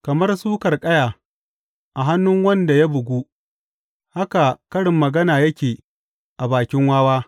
Kamar suƙar ƙaya a hannun wanda ya bugu haka karin magana yake a bakin wawa.